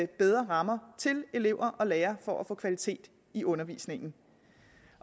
bedre rammer til elever og lærere for at få kvalitet i undervisningen